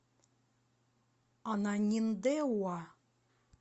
ананиндеуа